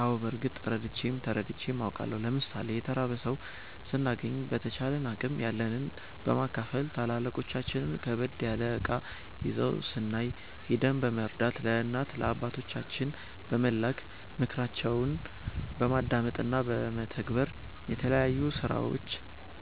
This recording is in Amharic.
አዎ በርግጥ ረድቼም ተረድቼም አቃለሁ። ለምሣሌ የተራበ ሠው ስናገኝ በተቻለን አቅም ያለንን በማካፈል፣ ታላላቆቻችን ከበድ ያለ እቃ ይዘው ስናይ ሂደን በመርዳት፣ ለእናት ለአባቶቻችን በመላክ፣ ምክራቸውን በማዳመጥ እና በመተግበር፣ የተለያዩ ስራዎች